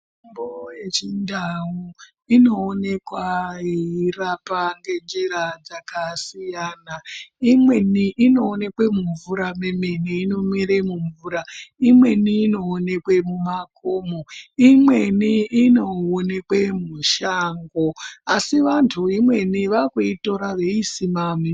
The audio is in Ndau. Mitombo yechindau inooneka yechirapa ngenjira dzakasiyana. Imweni inoonekwa mumvura mwemene, inomwire mumvura. Imweni inoonekwa mumakomo. Imweni inoonekwa mushango asi vanhu vakuitora imweni vachiisima.